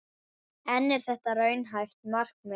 En er þetta raunhæft markmið?